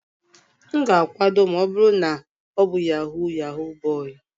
M ga-akwado ma ọ bụrụ na ọ bụ Yahoo yahoo boy.